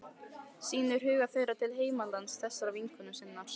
Sýnir hug þeirra til heimalands þessarar vinkonu sinnar.